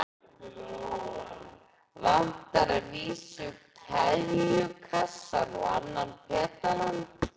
Vantar að vísu keðjukassann og annan pedalann.